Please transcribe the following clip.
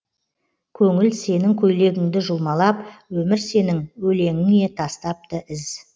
көңіл сенің көйлегіңді жұлмалап өмір сенің өлеңіңе тастапты із